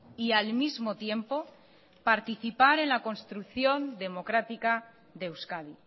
y al mismo tiempo participar en la construcción democrática de euskadi